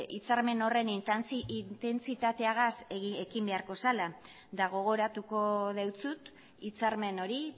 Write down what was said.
hitzarmen horren intentsitatearekin ekin beharko zela eta gogoratuko dizut hitzarmen hori